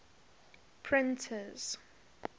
printers